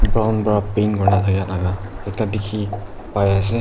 brown para paint kurina thakia laga ekta dikhi pai ase.